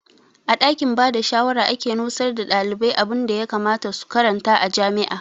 A ɗakin bada shawara ake nusar da ɗalibai abunda ya kamata su karanta a jami'a